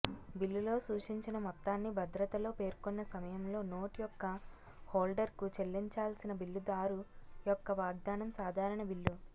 బిల్లులో సూచించిన మొత్తాన్ని భద్రతాలో పేర్కొన్న సమయంలో నోట్ యొక్క హోల్డర్కు చెల్లించాల్సిన బిల్లుదారు యొక్క వాగ్దానం సాధారణ బిల్లు